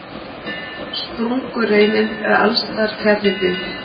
Sprungureinin er alls staðar fjarri byggð.